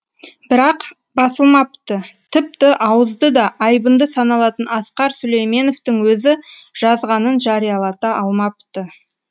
бірақ басылмапты тіпті ауызды да айбынды саналатын асқар сүлейменовтің өзі жазғанын жариялата алмапты